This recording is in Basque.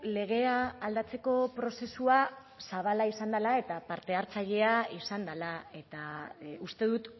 legea aldatzeko prozesua zabala izan dela eta partehartzailea izan dela eta uste dut